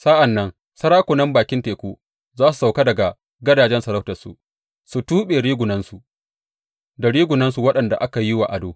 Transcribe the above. Sa’an nan sarakunan bakin teku za su sauka daga gadajen sarautarsu, su tuɓe rigunansu, da rigunansu waɗanda aka yi wa ado.